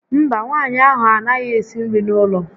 Mba, nwaanyị ahụ a naghị ésí nri n'ụlọ